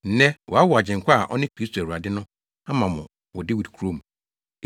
Nnɛ wɔawo Agyenkwa a ɔne Kristo Awurade no ama mo wɔ Dawid kurom.